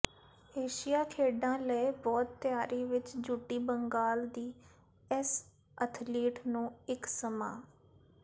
ਏਸ਼ੀਆਈ ਖੇਡਾਂ ਲਈ ਬਹੁਤ ਤਿਆਰੀ ਵਿੱਚ ਜੁਟੀ ਬੰਗਾਲ ਦੀ ਇਸ ਅਥਲੀਟ ਨੂੰ ਇੱਕ ਸਮਾਂ